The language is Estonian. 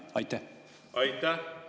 Aitäh!